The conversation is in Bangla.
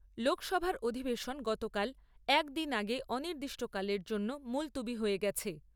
লোকসভার অধিবেশন গতকাল, এক দিন আগে অনির্দিষ্টকালের জন্য মুলতুবি হয়ে গেছে।